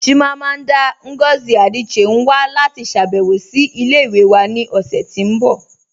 Chimamanda Ngozi Adichie n wà láti ṣàbẹ̀wọ̀ sí ilẹ̀-ìwẹ̀ wà ni ọṣẹ̀ tí n bọ